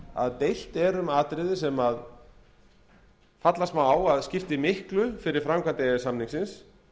að deilt er um atriði sem falla svo á að það skipti miklu fyrir framkvæmd e e s samningsins